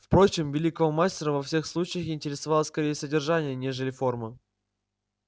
впрочем великого мастера во всех случаях интересовало скорее содержание нежели форма